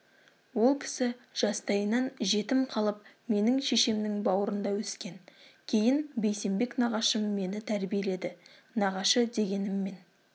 ол кісі жастайынан жетім қалып менің шешемнің бауырында өскен кейін бейсенбек нағашым мені тәрбиеледі нағашы дегеніммен